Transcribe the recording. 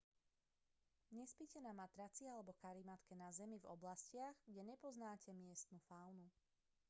nespite na matraci alebo karimatke na zemi v oblastiach kde nepoznáte miestnu faunu